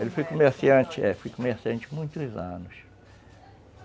Ele foi comerciante, é, foi comerciante por muitos anos.